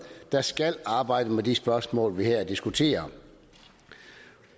der skal arbejde med de spørgsmål vi her diskuterer